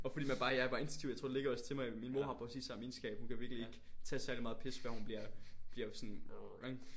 Og fordi man bare jeg er bare instinktivt jeg tror det ligger også til mig min mor har præcis samme egenskab hun kan virkelig ikke tage særligt meget pis før hun bliver bliver sådan sådan ikke